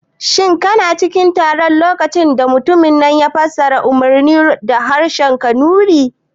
Shin kana cikin taron a lokacin da mutumin ya fassara umarnin da harshen kanuri ne?